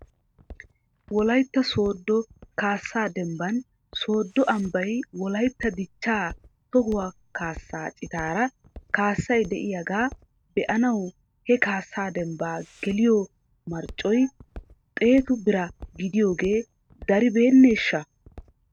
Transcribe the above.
Wolaytta sooddo kaasaa dembban sooddo ambbay wolaytta dichchaa tohuwaa kaasaa citaara kaasay de'iyaagaa be'anaw he kaasaa dembbaa geliyoo marccoy xeetu bira giidoogee daribeeneeshsha?